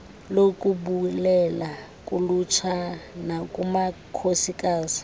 lokubulela kulutsha nakumakhosikazi